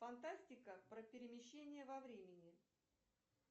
фантастика про перемещение во времени